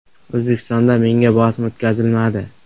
O‘zbekistonda menga bosim o‘tkazilmadi.